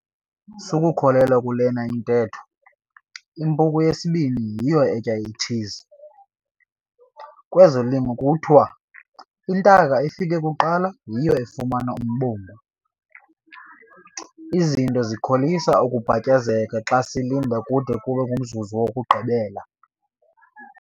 Sukukholelwa kule ntetho "impuku yesibini yiyo etya itshizi" - kwezolimo kuthiwa "intaka efike kuqala yiyo efumana umbungu". Izinto zikholisa ukubhatyazeka xa silinda kude kube ngumzuzu wokugqibela!